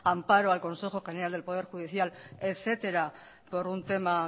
amparo al consejo general del poder judicial etcétera por un tema